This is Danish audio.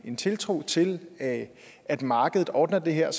en tiltro til at at markedet ordner det her